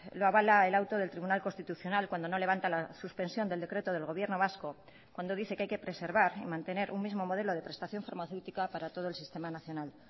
lo avala el auto del tribunal constitucional cuando no levanta la suspensión del decreto del gobierno vasco cuando dice que hay que preservar y mantener un mismo modelo de prestación farmacéutica para todo el sistema nacional